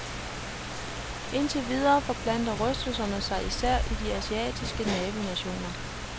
Indtil videre forplanter rystelserne sig især til de asiatiske nabonationer.